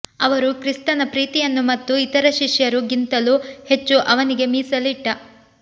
ಅವರು ಕ್ರಿಸ್ತನ ಪ್ರೀತಿಯನ್ನು ಮತ್ತು ಇತರ ಶಿಷ್ಯರು ಗಿಂತಲೂ ಹೆಚ್ಚು ಅವನಿಗೆ ಮೀಸಲಿಟ್ಟ